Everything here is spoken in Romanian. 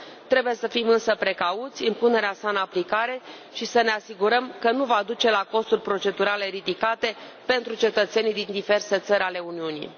Trebuie să fim însă precauți la punerea sa în aplicare și să ne asigurăm că nu va duce la costuri procedurale ridicate pentru cetățenii din diverse țări ale Uniunii.